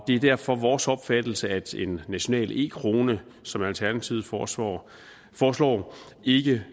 det er derfor vores opfattelse at en national e krone som alternativet foreslår foreslår ikke